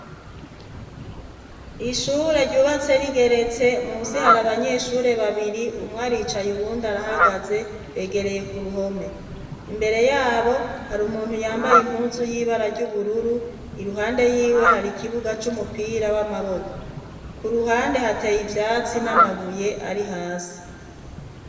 Ishure ryubatse rigerets,e munsi hari abanyeshure babiri umwe aricaye uwundi arahagaze begereye ku ruhome. Imbere yabo hari umuntu yambaye impuzu y'ibara ry'ubururu iruhande yiwe hari ikibuga cy'umupira w'amaboko ku ruhande hateye ibyatsi n'amabuye ari hasi.